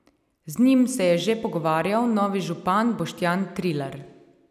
Z njim se je že pogovarjal novi župan Boštjan Trilar.